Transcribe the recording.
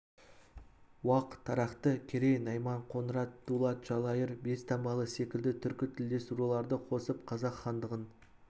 уақ тарақты керей найман қоңырат дулат жалайыр бестаңбалы секілді түркі тілдес руларды қосып қазақ хандығын